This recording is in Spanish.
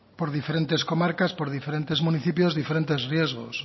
por diferentes comarcas por diferentes municipios diferentes riesgos